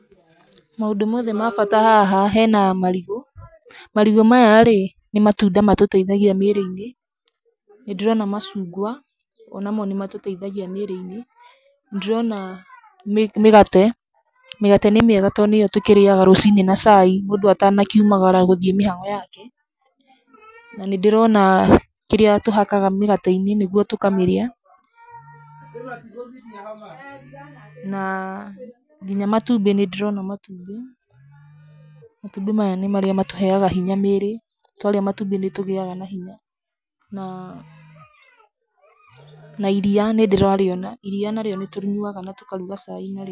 Maũndũ mothe ma bata haha, hena marigũ, marigũ maya rĩ, nĩ matunda matũteithagia mĩĩrĩ-inĩ. Nĩ ndĩrona macungwa, o na mo nĩ matũteithagia mĩĩrĩ-inĩ. Nĩ ndĩrona mĩgate, mĩgate nĩ mĩega to nĩ yo tũkĩrĩaga ruciinĩ na cai mũndũ atanakiumaraga gũthiĩ mĩhang'o yake. Na nĩ ndĩrona kĩrĩa tũhakaga mĩgate-inĩ nĩguo tukamĩrĩa. Na nginya matũmbĩ, nĩ ndĩrona matumbĩ, matumbĩ maya nĩ marĩa matũheaga hinya mĩĩrĩ twarĩa matumbĩ nĩ tũgĩaga na hinya. na iria nĩ ndĩrarĩona, iria narĩo nĩ tũrĩnyuaga na tũkaruga cai narĩo.